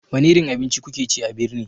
Wani irin abinci kuke ci a birni?